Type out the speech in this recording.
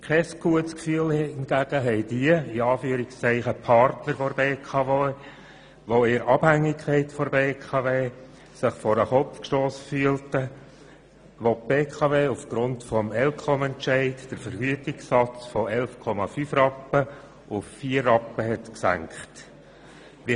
Kein «gutes Gefühl» hingegen empfinden jene «Partner» der BKW, die sich in einer Abhängigkeit von der BKW befinden und sich vor den Kopf gestossen fühlten, als die BKW aufgrund des ElCom-Entscheids den Vergütungssatz von 11,5 Rappen auf vier Rappen gesenkt hat.